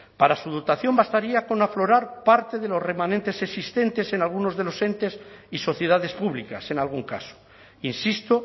para su dotación bastaría con aflorar parte de los remanentes existentes en algunos de los entes y sociedades públicas en algún caso insisto